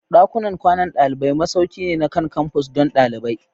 Dakunan kwanan dalibai masauki ne na kan-campus don ɗalibai.